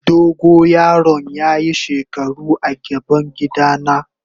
Dogo yaron ya yi shekaru a gaban gida na.